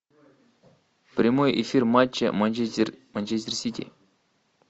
прямой эфир матча манчестер манчестер сити